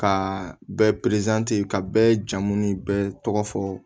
Ka bɛɛ ka bɛɛ jamu ni bɛɛ tɔgɔ fɔ